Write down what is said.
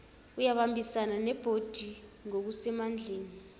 uyabambisana nebhodi ngokusemandleni